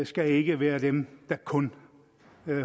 skal ikke være dem der kun